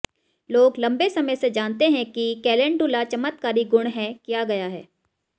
लोग लंबे समय से जानते हैं कि कैलेंडुला चमत्कारी गुण है किया गया है